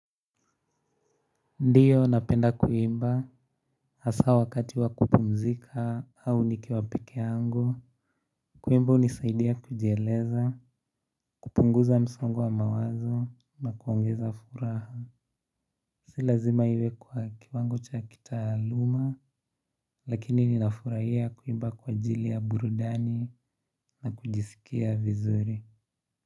Ndio napenda kuimba hasa wakati wa kupumzika au nikiwa pekee yangu. Kuimba hunisaidia kujieleza, kupunguza msongo wa mawazo na kuongeza furaha. Si lazima iwe kwa kiwango cha kitaaluma lakini ninafurahia kuimba kwa ajili ya burudani na kujisikia vizuri.